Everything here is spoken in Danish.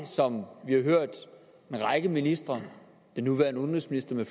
som vi har hørt en række ministre den nuværende udenrigsminister